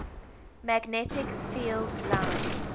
magnetic field lines